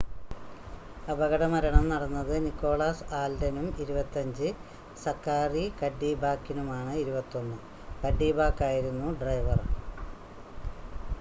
അപകടമരണം നടന്നത് നിക്കോളാസ് ആൽഡനും 25 സക്കാറി കഡ്ഡിബാക്ക്കിനുമാണ് 21 കഡ്ഡിബാക്കായിരുന്നു ഡ്രൈവർ